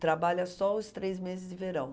Trabalha só os três meses de verão.